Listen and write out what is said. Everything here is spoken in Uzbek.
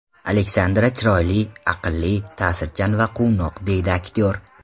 Alexandra chiroyli, aqlli, ta’sirchan va quvnoq”, deydi aktyor.